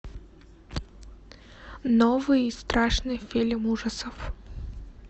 новый страшный фильм ужасов